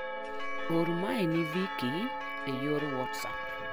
Or mae ni Vikki e yor whatsapp.